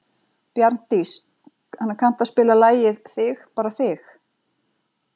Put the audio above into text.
Bjarndís, kanntu að spila lagið „Þig bara þig“?